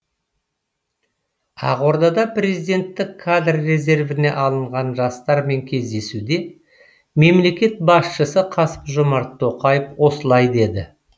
ақордада президенттік кадр резервіне алынған жастармен кездесуде мемлекет басшысы қасым жомарт тоқаев осылай деді